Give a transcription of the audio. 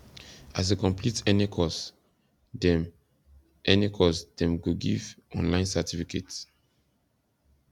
as you complete any course dem any course dem go give online certificate